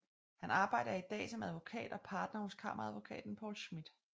Han arbejder i dag som advokat og partner hos Kammeradvokaten Poul Schmith